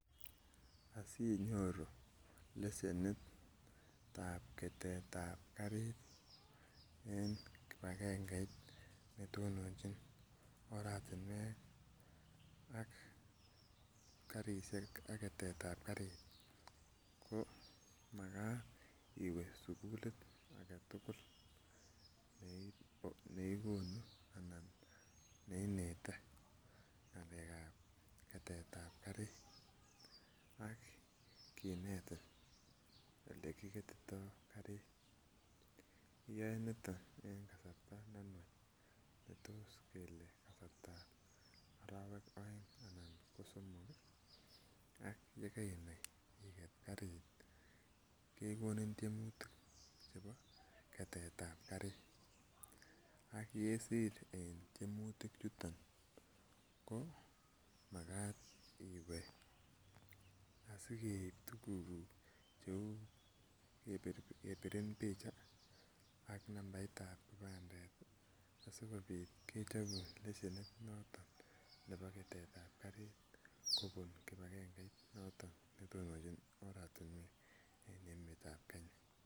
Asinyoru lesenit ab ketet ab karit en kipagengeit netononjin oratinwek ak karisiek ak ketet ab karit ko makat iwe sugulit age tugul nekonu anan neinete ng'alek ab ketet ab karit ak kinetin olekiketitoo karit, iyoe niton en kasarta nenwach ne tos kele kasartab arowek oeng anan ko somok ak yekeinai iket karit kekonin tyemutik chebo ketet ab karit ak yesir en tyemutik chuton ko makat iwe asikeib tuguk kuk kou kebirin picha ak nambait ab kipandet asikobit kechobun lesenit nebo ketet ab karit kobun kibagangeit noton netononjin oratinwek en emet ab Kenya